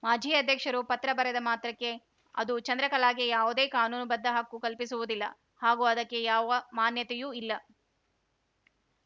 ಮಾಜಿ ಅಧ್ಯಕ್ಷರು ಪತ್ರ ಬರೆದ ಮಾತ್ರಕ್ಕೆ ಅದು ಚಂದ್ರಕಲಾಗೆ ಯಾವುದೇ ಕಾನೂನುಬದ್ಧ ಹಕ್ಕು ಕಲ್ಪಿಸುವುದಿಲ್ಲ ಹಾಗೂ ಅದಕ್ಕೆ ಯಾವ ಮಾನ್ಯತೆಯೂ ಇಲ್ಲ